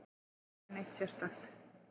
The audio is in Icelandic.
Það var aldrei neitt sérstakt.